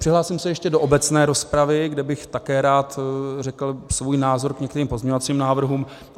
Přihlásím se ještě do obecné rozpravy, kde bych také rád řekl svůj názor k některým pozměňovacím návrhům.